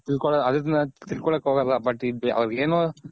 ತಿಳ್ಕೊಕ್ ಹೋಗೋಲ್ಲ ಅವ್ರಗ್ ಏನು